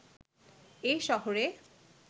এ শহরে